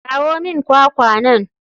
Kawo min kwakwa nan.